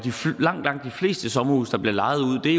langt langt de fleste sommerhuse der bliver lejet ud er